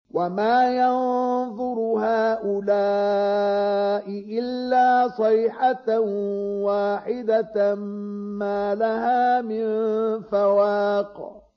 وَمَا يَنظُرُ هَٰؤُلَاءِ إِلَّا صَيْحَةً وَاحِدَةً مَّا لَهَا مِن فَوَاقٍ